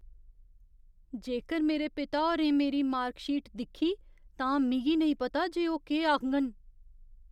जेकर मेरे पिता होरें मेरी मार्क शीट दिक्खी, तां मिगी नेईं पता जे ओह् केह् आखङन।